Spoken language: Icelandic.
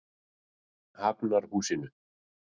Hafnarhúsinu